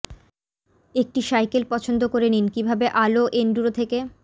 একটি সাইকেল পছন্দ করে নিন কিভাবে আলো এন্ডুরো থেকে